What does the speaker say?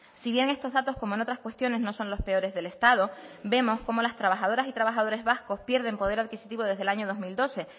si bien estos datos como en otras cuestiones no son los peores del estado vemos cómo las trabajadores y trabajadores vascos pierden poder adquisitivo desde el año dos mil doce